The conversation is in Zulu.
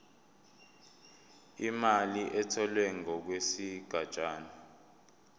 imali etholwe ngokwesigatshana